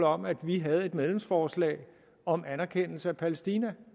om at vi havde et medlemsforslag om anerkendelse af palæstina